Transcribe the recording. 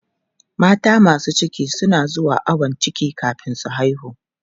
Mata masu ciki na zuwa ayon ciki kafin su haihu.